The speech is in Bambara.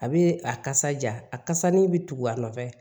A bɛ a kasa ja a kasani bɛ tugu a nɔfɛ